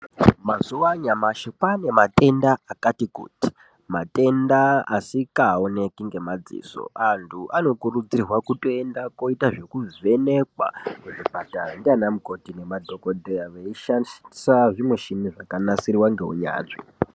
Mazuva anyamashi kwane matenda akati kuti matenda asikaoneki ngemadziso. Antu anokurudzirwa kutoenda kunoita zvekuvhenekwa kuzvipatara ndiana mukoti nemadhogodheya veishandisa zvimishini zvakanasirwa ngeunyanzvi.